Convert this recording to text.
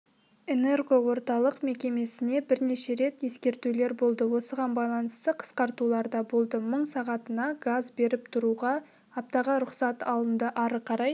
энергоорталық мекемесіне бірнеше рет ескертулер болды осыған байланысты қысқартулар да болды мың сағатына газ беріп тұруға аптаға рұқсат алынды ары қарай